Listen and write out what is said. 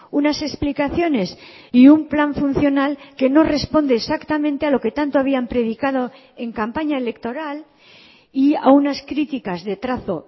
unas explicaciones y un plan funcional que no responde exactamente a lo que tanto habían predicado en campaña electoral y a unas críticas de trazo